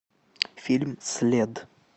фильм след